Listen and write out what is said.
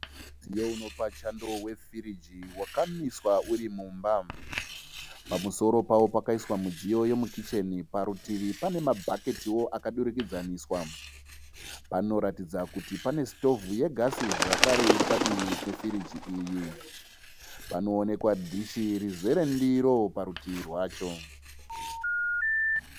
Mudziyo unopa chando wefiriji wakamiswa urimumba. Pamusoro pawo pakaiswa mudziyo yemukichene, parutivi pane mabhaketiwo akadurikidzaniswa. Panoratidza kuti pane sitovhu yegasi zvakare padivi pefiriji iyi. Panoonekwawo dishi rizere ndiro parutivi rwacho.